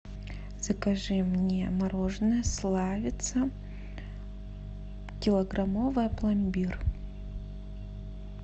закажи мне мороженое славица килограммовое пломбир